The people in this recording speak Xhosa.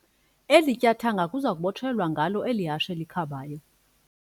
Eli tyathanga kuza kubotshelelwa ngalo eli hashe likhabayo.